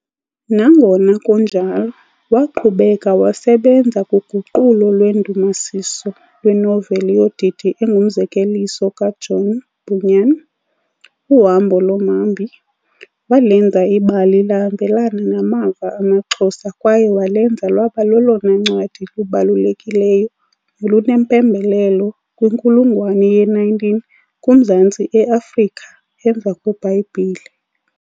Nangona kunjalo, waqhubeka wasebenza kuguqulo lwendumasiso lwenoveli yodidi engumzekeliso kaJohn Bunyan, Uhambo lomhambi, walenza ibali lahambelana namava amaXhosa kwaye walenza lwaba lolona ncwadi lubalulekileyo nolunempembelelo kwinkulungwane ye-19 kuMaZantsi eAfrika emva kweBhayibhile.